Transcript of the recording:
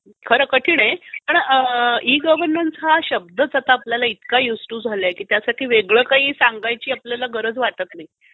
खरं कठीण आहे; पण ई गव्हरनन्स हा शब्दच आपल्याला इतका युज टू झालाय की त्यासाठी वेगळं काही सांगायची आपल्याला गरज वाटत नाही.